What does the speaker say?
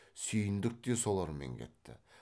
сүйіндік те солармен кетті